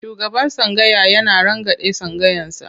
Shugaban tsangaya yana rangadin tsangayarsa.